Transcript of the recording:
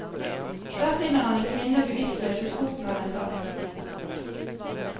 Der finner han en kvinne bevisstløs ved foten av en trapp.